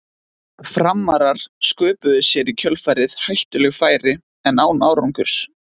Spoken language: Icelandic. Framarar sköpuðu sér í kjölfarið hættuleg færi en án árangurs.